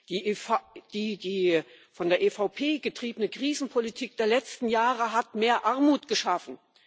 Die von der EVP getriebene Krisenpolitik der letzten Jahre hat mehr Armut geschaffen.